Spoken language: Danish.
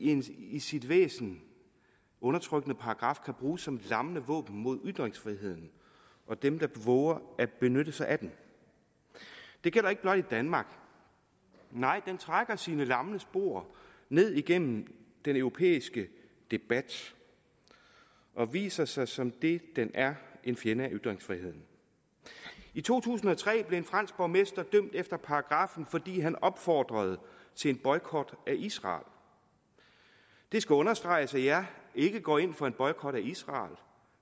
en i sit væsen undertrykkende paragraf kan bruges som lammende våben mod ytringsfriheden og dem der vover at benytte sig af den det gælder ikke blot i danmark nej den trækker sine lange spor ned igennem den europæiske debat og viser sig som det den er en fjende af ytringsfriheden i to tusind og tre blev en fransk borgmester dømt efter paragraffen fordi han opfordrede til en boykot af israel det skal understreges at jeg ikke går ind for en boykot af israel